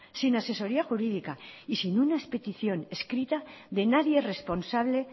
sin asesoría jurídica y sin una petición escrita de nadie responsable